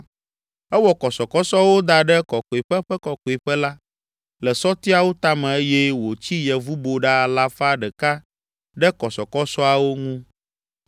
Ewɔ kɔsɔkɔsɔwo da ɖe Kɔkɔeƒe ƒe Kɔkɔeƒe la, le sɔtiawo tame eye wòtsi yevuboɖa alafa ɖeka ɖe kɔsɔkɔsɔawo ŋu.